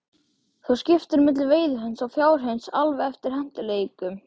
Þú skiptir á milli veiðihunds og fjárhunds alveg eftir hentugleikum.